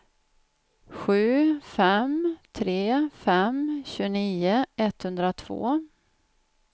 sju fem tre fem tjugonio etthundratvå